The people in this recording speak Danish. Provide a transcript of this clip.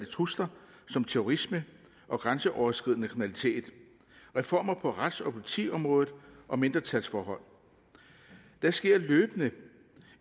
trusler som terrorisme og grænseoverskridende kriminalitet reformer på rets og politiområdet og mindretalsforhold der sker løbende